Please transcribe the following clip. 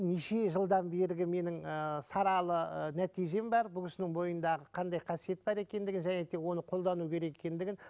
неше жылдан бергі менің ыыы саралы ы нәтижем бар бұл кісінің бойындағы қандай қасиет бар екендігін және де оны қолдану керек екендігін